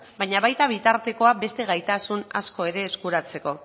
baina baita bitartekoa beste gaitasun asko ere eskuratzeko